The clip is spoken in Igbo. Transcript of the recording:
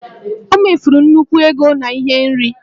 O mefuru nnukwu ego na ihe nri